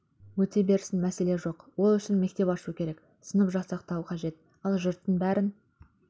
өте берсін мәселе жоқ ол үшін мектеп ашу керек сынып жасақтау қажет ал жұрттың бәрін